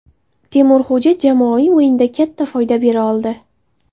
Temurxo‘ja jamoaviy o‘yinda katta foyda bera oldi.